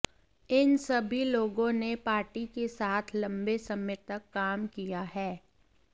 इन सभी लोगों ने पार्टी के साथ लंबे समय तक काम किया है